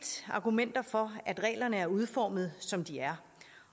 argumenter for at reglerne er udformet som de er